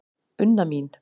Unna mín.